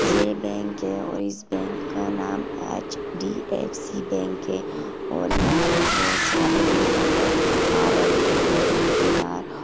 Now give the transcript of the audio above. यह बैंक है और इस बैंक का नाम एच _डी _एफ _सी बैंक है और यहाँ पर बहोत सारे लोग नजर आ रहे है। बैंक के बाहर--